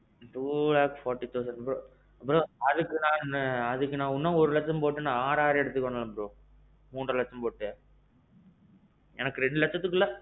two lakhs forty thousand. bro அதுக்கு நான் இன்னும் ஒரு லட்சம் போட்டு அதுக்கு R R எடுத்துருவேன் bro. மூன்ற லட்சம் போட்டு. எனக்கு ரெண்டு லட்சத்துக்கு உள்ள.